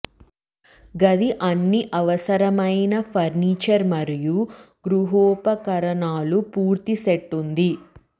గది అన్ని అవసరమైన ఫర్నిచర్ మరియు గృహోపకరణాలు పూర్తి సెట్ ఉంది